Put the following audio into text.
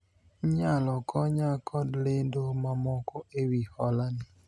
inyalo konya kod lendo mamoko ewi hola ni